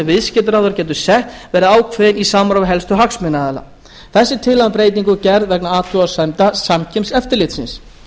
viðskiptaráðherra getur sett verði ákveðin í samráði við helstu hagsmunaaðila þessi tillaga um breytingu er gerð vegna athugasemda samkeppniseftirlitsins